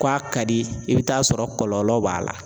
K'a ka di i bɛ t'a sɔrɔ kɔlɔlɔw b'a la